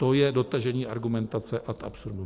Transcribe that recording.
To je dotažení argumentace ad absurdum.